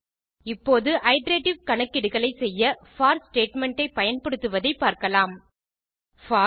இப்போது இட்டரேட்டிவ் கணக்கீடுகளை செய்ய போர் ஸ்டேட்மெண்ட் ஐ பயன்படுத்துவதை பார்க்கலாம் போர்